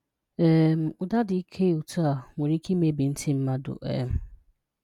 um Ụdá dị ịke otú a, nwere ike ịmebi ntị mmadụ. um